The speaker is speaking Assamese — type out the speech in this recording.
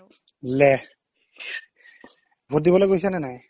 ভোট দিবলৈ গৈছা নে নাই